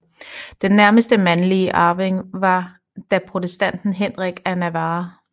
Den nærmeste mandlige arving var da protestanten Henrik af Navarra